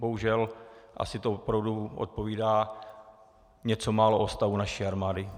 Bohužel to asi opravdu odpovídá něco málo o stavu naší armády.